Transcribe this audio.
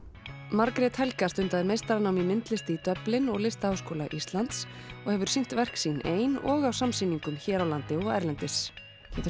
Margrét Helga stundaði meistaranám í myndlist í Dublin og í Listaháskóla Íslands og hefur sýnt verk sín ein og á samsýningum hér á landi og erlendis geturðu